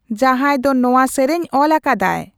ᱡᱟᱦᱟᱭ ᱫᱚ ᱱᱚᱶᱟ ᱥᱮᱨᱮᱧᱮ ᱚᱞ ᱟᱠᱟᱫᱟᱭ